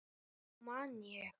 Heyrðu, nú man ég.